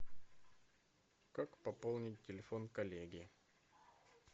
как пополнить телефон коллеги